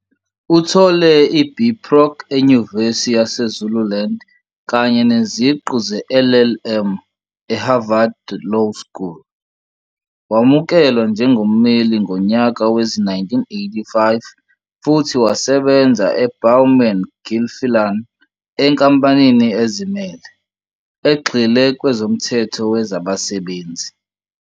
Uthole iB Proc eNyuvesi yaseZululand kanye neziqu zeLLM eHarvard Law School. Wamukelwa njengommeli ngo nyaka wezi-1985 futhi wasebenza e- Bowman Gilfillan Enkampanini ezimele, egxile kwezomthetho wezabasebenzi.